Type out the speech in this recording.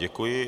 Děkuji.